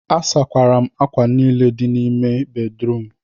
asakwara m ákwà niile dị n'ime ime bedrum